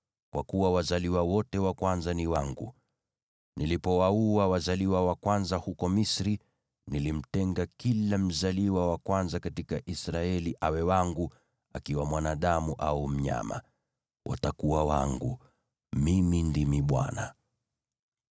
kwa kuwa wazaliwa wote wa kwanza ni wangu. Nilipowaua wazaliwa wa kwanza huko Misri, nilimtenga kila mzaliwa wa kwanza katika Israeli awe wangu, akiwa mwanadamu au mnyama. Watakuwa wangu. Mimi ndimi Bwana .”